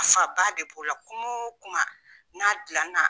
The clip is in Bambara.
A fa ba de b'o la, kuma o kuma n'a gilan na